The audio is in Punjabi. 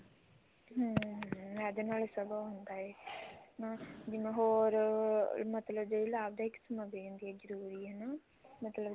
ਹਮ ਹਮ ਇਹਦੇ ਨਾਲ ਸਗੋਂ ਉਹ ਹੁੰਦਾ ਹੈ ਜਿਵੇਂ ਹੋਰ ਮਤਲਬ ਜਿਹੜੀ ਲਾਭਦਾਇਕ ਸਮਗਰੀ ਹੁੰਦੀ ਆ ਜਰੂਰੀ ਹਨਾ ਮਤਲਬ